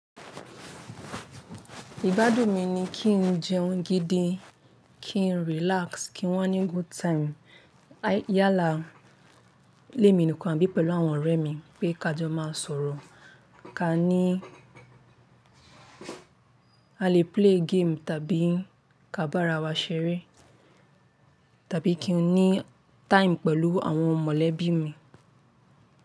Ìgbádùn mi ni kí n jẹun gidi, kí n relax, kí n wa ní good time. Yálà lé mi nikan abí pẹ̀lú àwọn ọ̀rẹ́ mi pé ká jọ máa sọ̀rọ̀, ká ní a lè play game tàbí ká bá ara wa ṣeré tàbí kí n ní time pẹ̀lú àwọn mọ̀lẹ́bí mi.